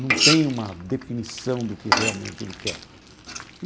Não tem uma definição do que realmente ele quer.